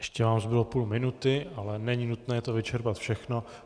Ještě vám zbylo půl minuty, ale není nutné to vyčerpat všechno.